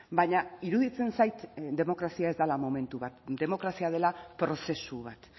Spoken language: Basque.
baina iruditzen zait demokrazia ez dela momentu bat demokrazia dela prozesu bat